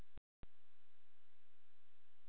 Arnfríður, hvað er á dagatalinu mínu í dag?